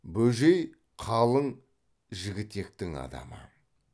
бөжей қалың жігітектің адамы